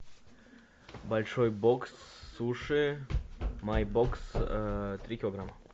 большой бокс суши майбокс три килограмма